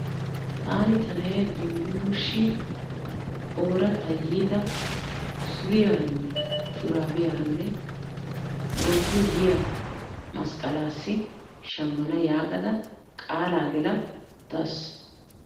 Taani ta na'ee Dumbbuluulissi ooratta yiida suriyaranne shuraabiyaranne wontto yiya masqqalaassi shammana yaaga qaalaa gela uttaas.